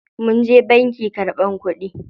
Munje banki karɓan kuɗi.